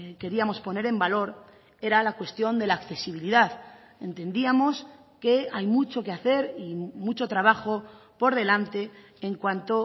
queríamos poner en valor era la cuestión de la accesibilidad entendíamos que hay mucho que hacer y mucho trabajo por delante en cuanto